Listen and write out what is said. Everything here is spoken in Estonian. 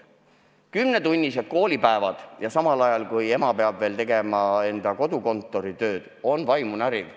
Kümnetunnised koolipäevad ajal, kui ema peab tegema ka kodukontori tööd, on vaimu näriv.